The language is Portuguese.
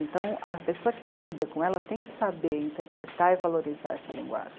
Então, a pessoa que lida com ela tem que saber interpretar e valorizar essa linguagem.